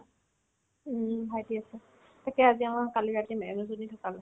উম্, ভাইটি আছে তোকে আজি কালি ৰাখিম